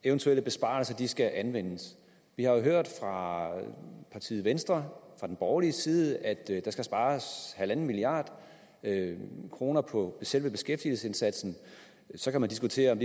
eventuelle besparelser skal anvendes vi har hørt fra partiet venstre fra den borgerlige side at der skal spares en milliard kroner på selve beskæftigelsesindsatsen så kan man diskutere om